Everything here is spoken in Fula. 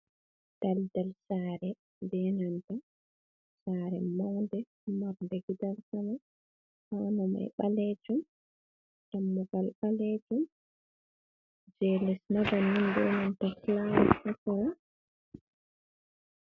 Daldal sare benanta sare maude marde gidan sama, paune mai balejum dammugal balejum je lesma banin be nanta flawa hasera.